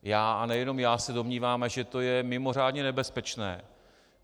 Já, a nejenom já, se domnívám, že to je mimořádně nebezpečné.